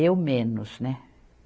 Eu menos, né?